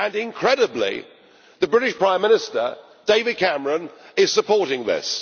Incredibly, the British Prime Minister, David Cameron, is supporting this.